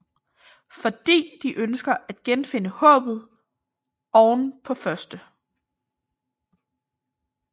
Fordi de ønsker at genfinde håbet oven på 1